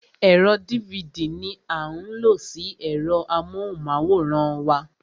Ẹ̀rọ dívidì ní a ń lo sí ẹ̀rọ amóhùnmáwòrán wa.